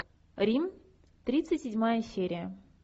рим тридцать седьмая серия